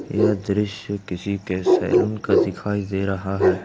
यह दृश्य किसी के सैलून का दिखाई दे रहा है।